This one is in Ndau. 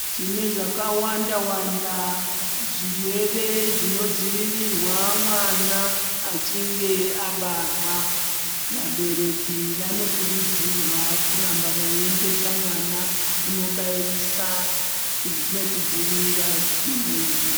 Tine zvakawanda wanda zvirwere zvinodzivirirwe mwana achinge abarwa vabereki vanokurudzirwa kuramba veiendesa mwana kundobairisa nekudzivirira zvitenda izvi.